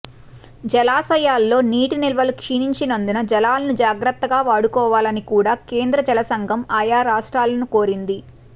జలాశయాల్లో నీటి నిల్వలు క్షీణించినందున జలాలను జాగ్రత్తగా వాడుకోవాలని కూడా కేంద్ర జల సంఘం ఆయా రాష్ట్రాలను కోరింది